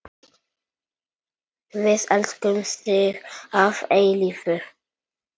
Við elskum þig að eilífu.